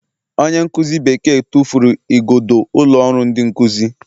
Onye nkuzi Bekee tụfuru igodo ụlọ ọrụ ndị nkuzi